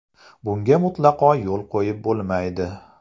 Bunga mutlaqo yo‘l qo‘yib bo‘lmaydi.